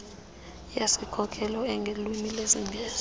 yesikhokelo engolwimi lwesingesi